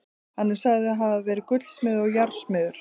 Hann er sagður hafa verið gullsmiður og járnsmiður.